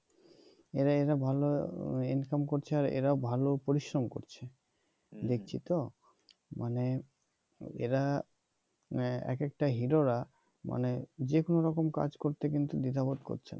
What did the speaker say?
এরা এরা ভাল ইনকাম করছে আর এরা ভাল পরিশ্রম করছে দেখছি তো মানে এরা মানে এক একটা হিরো রা মানে যেকোন রকম কাজ করতে দ্বিধাবোধ করছে না